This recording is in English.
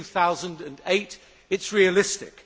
2008. It is realistic.